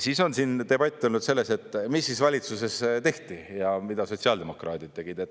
Siis on debatt olnud selles, et mis siis valitsuses tehti ja mida sotsiaaldemokraadid tegid.